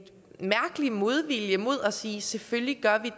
mærkelig modvilje mod at sige selvfølgelig gør